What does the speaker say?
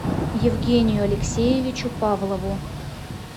евгению алексеевичу павлову